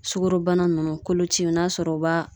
Sukoro bana nunnu kolociw, n'a sɔrɔ u b'a